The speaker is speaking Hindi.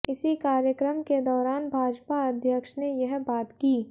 इसी कार्यक्रम के दौरान भाजपा अध्यक्ष ने यह बात की